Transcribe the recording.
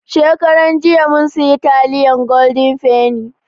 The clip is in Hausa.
Shekaran jiya mun siya taliyan goden feni